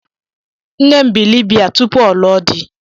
Nne m bị Libiya tụpụ ọ lụọ di.